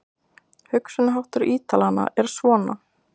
Hugsunarháttur Ítalanna er svona.